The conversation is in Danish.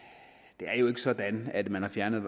jo ikke er sådan at man har fjernet